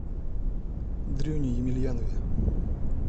дрюне емельянове